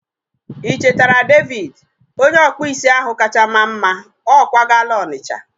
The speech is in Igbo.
I chetere David? Onye ọkpụ isi ahụ kacha maa mma. Ọ kwagala Onitcha